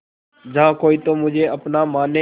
जहा कोई तो तुझे अपना माने